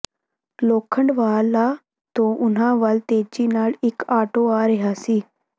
ਲੋਖੰਡਵਾਲਾ ਤੋਂ ਉਨ੍ਹਾਂ ਵੱਲ ਤੇਜ਼ੀ ਨਾਲ ਇਕ ਆਟੋ ਆ ਰਿਹਾ ਸੀ